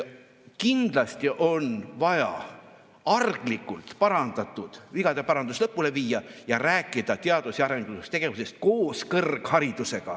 Kindlasti on vaja arglikult tehtud vigade parandus lõpule viia ja rääkida teadus‑ ja arendustegevusest koos kõrgharidusega.